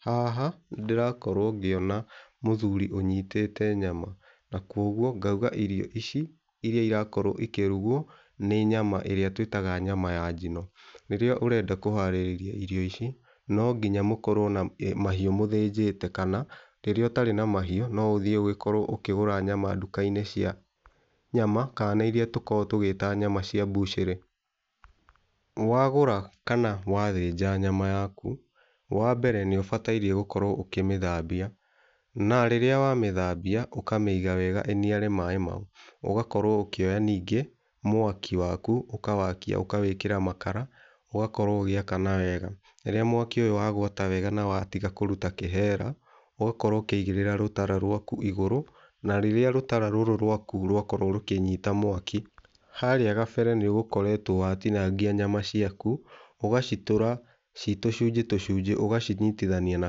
Haha nĩndĩrakorwo ngĩona mũthuri ũnyitĩte nyama na kuoguo ngaũga irio ici iria irakorwo ikĩrugwo nĩ nyama ĩrĩa tũĩtaga nyama ya njino. Rĩrĩa ũrenda kũharĩrĩria irio ici nonginya mũkorwo na mahiũ mũthĩnjĩte kana rĩrĩa ũtarĩ na mahiũ no ũthiĩ ũkorwo ũkĩgũra nyama nduka-inĩ cia nyama kana nĩ iria tũkoragwo tũgĩta nyama cia mbũcerĩ. Wagũra kana wathĩnja nyama yaku wambere nĩ ũbatie gũkorwo ũkĩmĩthambia na rĩrĩa wa mĩthambia ũkamĩiga wega ĩniare maĩ mau ũgakoro ũkĩoya ningĩ mwaki waku ũkawakia ũkawĩkĩra makara ũgakorwo ũgĩakana wega. Rĩrĩa mwaki ũyũ wagwata wega na watiga kũruta kĩhera ũgakorwo ũkĩigĩrĩra rũtara rwaku igũrũ, na rĩrĩa rũtara rũrũ rwaku rwakorwo rũkĩnita mwaki harĩa gabere nĩ ũgũkoretwo watinangia nyama ciaku ũgacitũra ciĩ tũcunjĩ tũcunjĩ ũgacinitithania na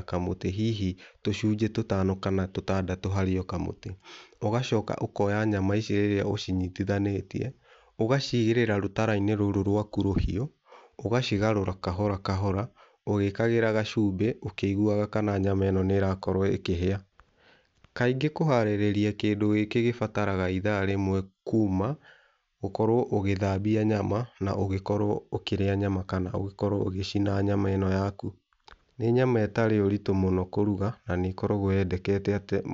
kamũtĩ hihi tũcũnjĩ tũtano kana tũtandatũ harĩ o kamũtĩ. ũgacoka ũkoya nyama ici rĩrĩa ũcinitithanĩtie ũgacigĩrĩra rũtara-inĩ rũrũ rwaku rũhiũ ũgacigarũra kahora kahora ũgĩkĩraga gacumbĩ ũkĩiguaga kana nyama ĩno nĩ ĩrakorwo ĩkĩhĩa. Kaingĩ kũharĩrĩria kĩndũ gĩkĩ gũbataraga itha rĩmwe kuma gũkorwo ũgĩthambia nyama na ũgũkorwo ũkĩrĩa nyama kana ũgĩkorwo ũgĩcina nyama ĩno yaku. Nĩ nyama ĩtarĩ ũritũ mũno kũruga na nĩkoragwo yendekete .